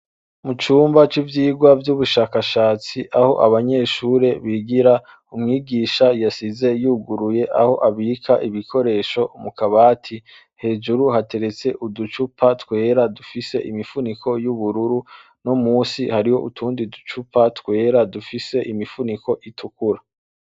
Icumba c'ivyigwa vy'ubushakashatsi aho abanyeshure bigira, umwigisha yasize yuguruye aho abika ibikoresho mu kabati, hejuru hateretse uducupa twera dufise imifuniko y'ubururu, no musi hariho utundi ducupa twera dufise imifuniko itukura.